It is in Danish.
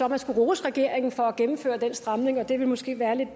at han skulle rose regeringen for at gennemføre den stramning og det ville måske være lidt